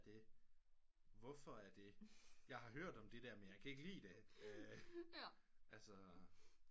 Det hvorfor er det jeg har hørt om det der men jeg kan ikke lide det altså